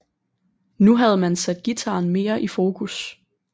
Nu havde man sat guitaren mere i fokus